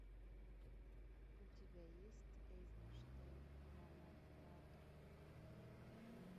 у тебя есть эйзенштейн в гуанахуато